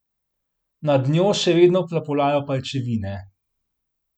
Nad njo še vedno plapolajo pajčevine.